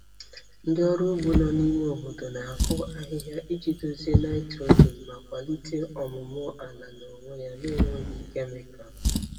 Ndị ọrụ ugbo nọ n'ime obodo na-akụ ahịhịa iji dozie nitrogen ma kwalite ọmụmụ ala n'onwe ya na-enweghị kemịkal.